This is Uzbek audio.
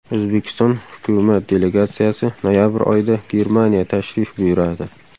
O‘zbekiston hukumat delegatsiyasi noyabr oyida Germaniya tashrif buyuradi.